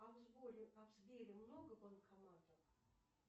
а в сбере много банкоматов